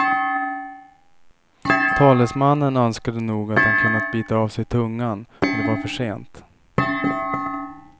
Talesmannen önskade nog att han kunnat bita av sig tungan, men det var för sent.